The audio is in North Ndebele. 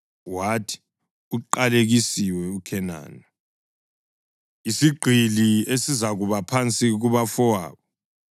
wathi, “Uqalekisiwe uKhenani! Isigqili esizakuba phansi kubafowabo.”